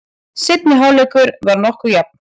Seinni hálfleikur var nokkuð jafn.